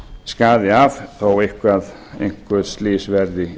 skaði af þó að einhver slys verði